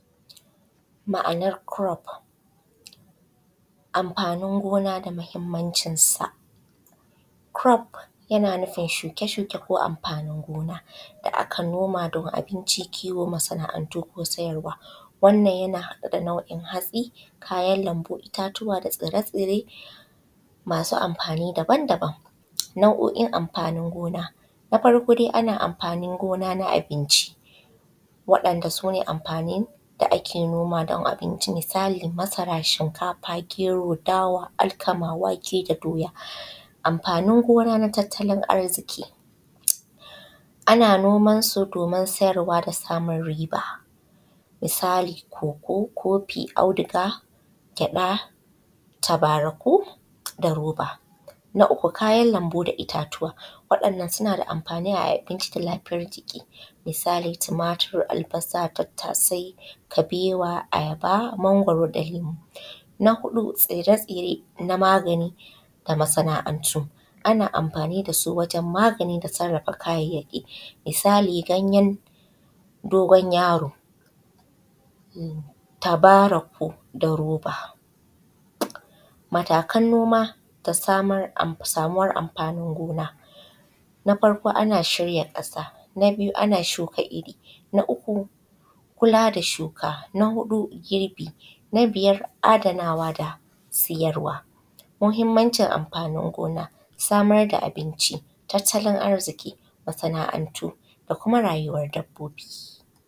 Ma’anar kurof amfani gonada mahimmancin sa. Kurof yna nufin shuke shuke ko amfanin gona da aka nomad an abinci, kiwo, masa’antu ko siyarwa. Wannan ya haɗa da nauin hatsi, kayan lambu, ittatua da tsire tsiremasu amfani daban daban. Nau’oin amfanin gona na farko dai ana amfanin gona na abinci wa’yan’da sune amfanin da ake nomad an abinci. misali masara, shikafa, gero, dawa, alkama, wake da doya. Amfanin gona na tattalin arkizi ana noman su domin siyarwa da samun riba. Misali koko kofi, auduga, gyaɗa, tabaraku da roba. Na uku kayan lambu da roba wadannan sunada amfani a abinci da lafiyar jiki misali tumatur, albasa, tattasai, kabewa, ayaba, magwaro da inibi. Na huɗu tsire tsire na magani da masana’antu ana amfani dasu wajen magani da sarrafa kayyaki misali ganyen su, ganyen dogon yaro, tabaraku, da roba. Matakan noma da samuwar amfanin gona. Na farko ana shuka irri a ƙasa. Na biyu ana shuka irri. Na uku kula da shuka. Na huɗu girbi. Na biyar adanawa da siyarwa. Mahimmancin amfanin gona samar da abinci tatalin arziƙi, masana’antu da kuma rayuwar dabbobi.